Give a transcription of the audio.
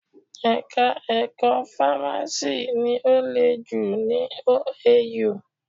Ẹ̀ka ẹ̀kọ́ fámásì ni ó le jù ní OAU.